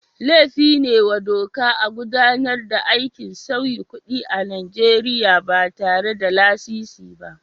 Laifin ne wa doka a gudanar da aikin sauyi kuɗi a Najeriya ba tare da lasisi ba.